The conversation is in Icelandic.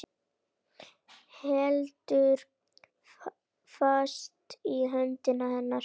Heldur fast í hönd hennar.